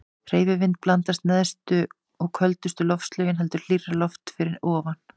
Hreyfi vind blandast neðstu og köldustu loftlögin heldur hlýrra lofti fyrir ofan.